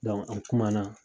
an kuma na